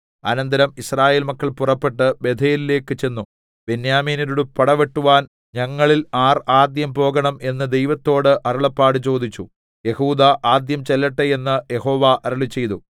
അനന്തരം യിസ്രായേൽ മക്കൾ പുറപ്പെട്ട് ബേഥേലിലേക്ക് ചെന്നു ബെന്യാമീന്യരോട് പടവെട്ടുവാൻ ഞങ്ങളിൽ ആർ ആദ്യം പോകേണം എന്ന് ദൈവത്തോട് അരുളപ്പാട് ചോദിച്ചു യെഹൂദാ ആദ്യം ചെല്ലട്ടെ എന്ന് യഹോവ അരുളിച്ചെയ്തു